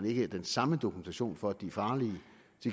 ikke den samme dokumentation for at de er farlige